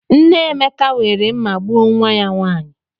Nne Emeka were mma gbuo nwa ya nwanyị.